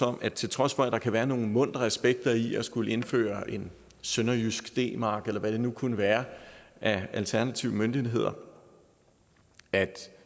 om at til trods for at der kan være nogle muntre aspekter i at skulle indføre en sønderjysk d mark eller hvad det nu kunne være af alternative møntenheder